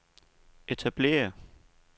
etablere